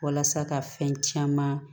Walasa ka fɛn caman